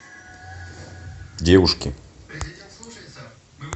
девушки